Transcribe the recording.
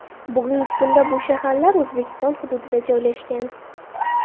Bugungi kunda bu shaharlar O‘zbekiston hududida joylashgan.